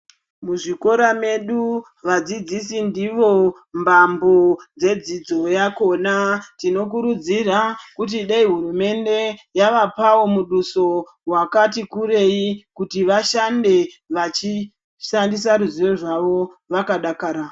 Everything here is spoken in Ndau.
Muzvikora medu vadzidzisi ndivo mbambo dzedzidzo yakhona tinokurudzira kuti nehurumende yavapawo muduso wakati kurei kuti vashande vachishandisa ruzivo rwawo vakadakara .